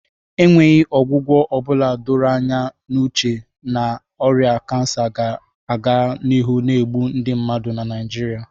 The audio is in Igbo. enweghị ọgwụgwọ ọ bụla doro anya n'uche na ọrịa kansa ga-aga n'ihu na-egbu ndị mmadụ na Naijiria